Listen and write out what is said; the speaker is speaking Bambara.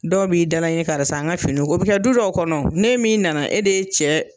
Dɔw b'i dala ɲini karisa n ka finiw ko o bi kɛ du dɔw kɔnɔ ne min nana e de ye cɛ